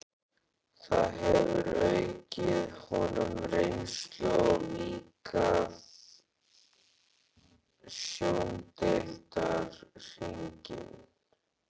Það hefur aukið honum reynslu og víkkað sjóndeildarhringinn.